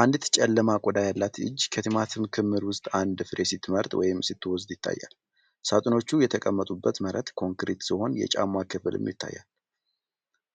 አንዲት ጨለማ ቆዳ ያላት እጅ ከቲማቲም ክምር ውስጥ አንድ ፍሬ ስትመርጥ ወይም ስትወስድ ይታያል። ሳጥኖቹ የተቀመጡበት መሬት ኮንክሪት ሲሆን የጫማ ክፍልም ይታያል።